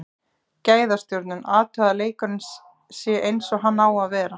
Gæðastjórnun, athugað að leikurinn sé eins og hann á að vera.